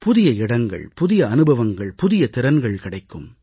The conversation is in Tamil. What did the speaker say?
புதிய இடங்கள் புதிய அனுபவங்கள் புதிய திறன்கள் கிடைக்கும்